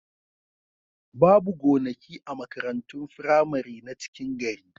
Babu gonaki a makarantun firamari na cikin gari.